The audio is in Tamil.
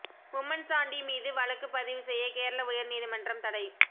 உம்மன்சாண்டி மீது வழக்கு பதிவு செய்ய கேரள உயர் நீதிமன்றம் தடை